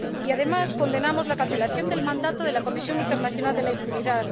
Además, condenamos la cancelación del mandato de la Comisión Internacional contra la Impunidad.